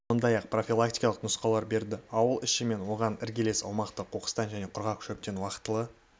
сондай-ақ профилактикалық нұсқаулар берді аула іші мен оған іргелес аумақты қоқыстан және құрғақ шөптен уақытылы